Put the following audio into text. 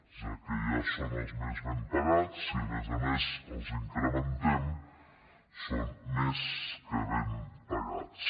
ja que ja són els més ben pagats si a més a més els incrementem són més que ben pagats